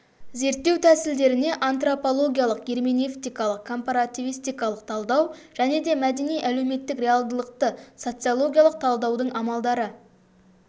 зерттеу тәсілдеріне антропологиялық герменевтикалық компаративистикалық талдау және де мәдени-әлеуметтік реалдылықты социологиялық талдаудың амалдары